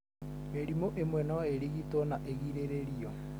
Mĩrimũ ĩmwe no ĩrigitwo na ĩgirĩrĩrio.